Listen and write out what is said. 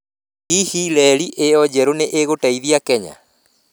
Hihi reri ĩyo njerũ nĩ ĩgũteithia Kenya?